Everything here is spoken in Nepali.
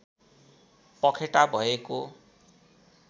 पखेटा भएको